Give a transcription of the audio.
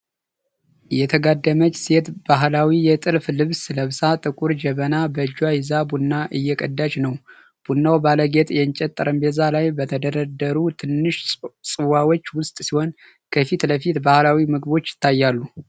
የተጋደመች ሴት ባህላዊ የጥልፍ ልብስ ለብሳ፣ ጥቁር ጀበና በእጇ ይዛ ቡና እየቀዳች ነው። ቡናው ባለጌጥ የእንጨት ጠረጴዛ ላይ በተደረደሩ ትናንሽ ጽዋዎች ውስጥ ሲሆን፣ ከፊት ለፊት ባህላዊ ምግቦች ይታያሉ።